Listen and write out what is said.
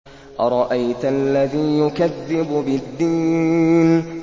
أَرَأَيْتَ الَّذِي يُكَذِّبُ بِالدِّينِ